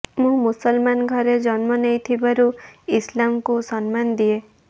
ମୁଁ ମୁସଲମାନ୍ ଘରେ ଜନ୍ମ ନେଇଥିବାରୁ ଇସଲାମକୁ ସମ୍ନାନ ଦିଏ